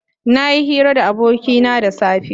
Nayi hira da abokina da safe.